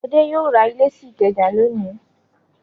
Adé yóò ra ilé sí Ìkẹjà lónìí!